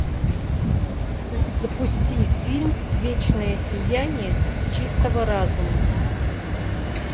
запусти фильм вечное сияние чистого разума